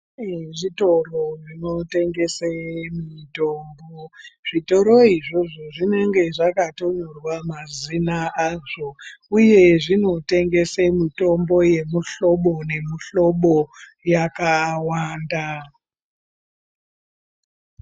Pane zvitoro zvinotengese mitombo. Zvitoro izvozvo zvinenge zvakatonyorwa mazina azvo uye zvinotengese mitombo yemuhlobo nemuhlobo yakawanda.